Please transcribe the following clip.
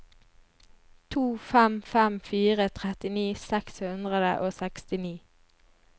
to fem fem fire trettini seks hundre og sekstini